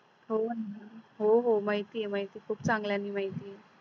होण हो हो माहिती आहे माहिती आहे खूप चांगल्याने माहीत आहे